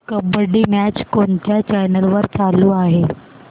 kabaddi match कोणत्या channel वर चालू आहे